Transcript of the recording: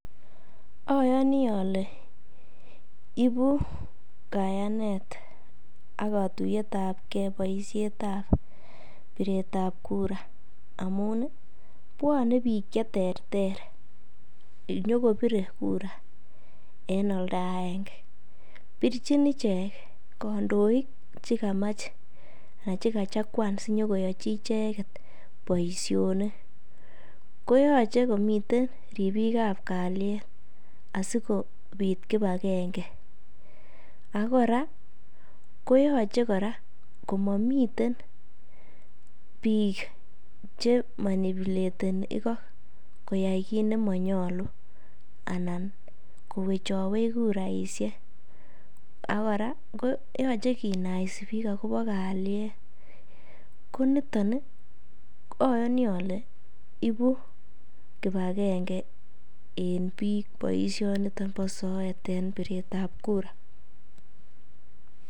Oyoni ole ibu kayanet ak kotuiyet ab ge boisiietab piret ab kura amun bwone biik che terter inyokobire kura en oldo agenge. Pirchin ichek kandoik che kamach anan che kachakwan sinyokoyochi icheget boiionik. Koyoche komiten ribik ab kalyet asikobit kipagenge ak kora koyoche kora komomiten biik che manipulateni igo koyai kit nemonyolu anan kowechowech kuraishek ak kora yoche kinaisi biik agobo kalyet. Ko niton ayoni ole ibu kipagenge en biik boisionito bo soet en piretab kura